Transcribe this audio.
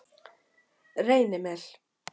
Reynimel